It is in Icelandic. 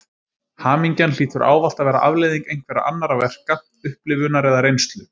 Hamingjan hlýtur ávallt að vera afleiðing einhverra annarra verka, upplifunar eða reynslu.